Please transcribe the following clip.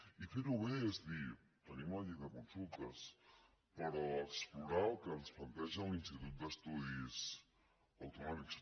i fer ho bé és dir tenim la llei de consultes però explorar el que ens planteja l’institut d’estudis autonòmics